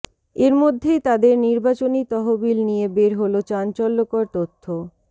এরমধ্যেই তাদের নির্বাচনী তহবিল নিয়ে বের হল চাঞ্চল্যকর তথ্য